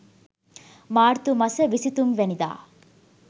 මාර්තු මස 23 වැනිදා